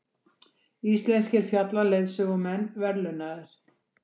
Íslenskir fjallaleiðsögumenn verðlaunaðir